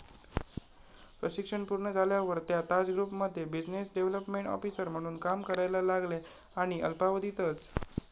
प्रशिक्षण पूर्ण झाल्यावर त्या ताज ग्रुपमध्ये बिझिनेस डेव्हलपमेंट ऑफिसर म्हणून काम करायला लागल्या आणि अल्पावधीतच